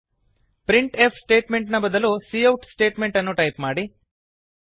print F statement ನ ಬದಲು cout statement ಅನ್ನು ಟೈಪ್ ಮಾಡಿ